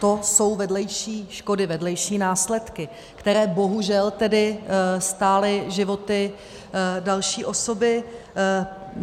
To jsou vedlejší škody, vedlejší následky, které bohužel tedy stály životy další osoby.